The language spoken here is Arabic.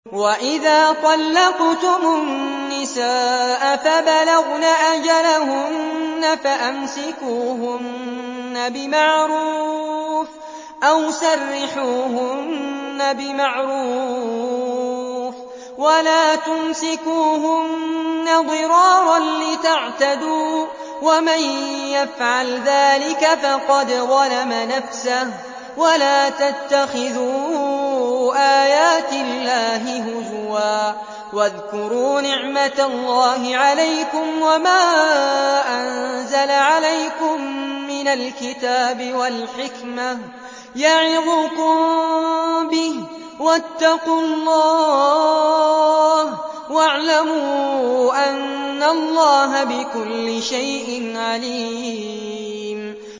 وَإِذَا طَلَّقْتُمُ النِّسَاءَ فَبَلَغْنَ أَجَلَهُنَّ فَأَمْسِكُوهُنَّ بِمَعْرُوفٍ أَوْ سَرِّحُوهُنَّ بِمَعْرُوفٍ ۚ وَلَا تُمْسِكُوهُنَّ ضِرَارًا لِّتَعْتَدُوا ۚ وَمَن يَفْعَلْ ذَٰلِكَ فَقَدْ ظَلَمَ نَفْسَهُ ۚ وَلَا تَتَّخِذُوا آيَاتِ اللَّهِ هُزُوًا ۚ وَاذْكُرُوا نِعْمَتَ اللَّهِ عَلَيْكُمْ وَمَا أَنزَلَ عَلَيْكُم مِّنَ الْكِتَابِ وَالْحِكْمَةِ يَعِظُكُم بِهِ ۚ وَاتَّقُوا اللَّهَ وَاعْلَمُوا أَنَّ اللَّهَ بِكُلِّ شَيْءٍ عَلِيمٌ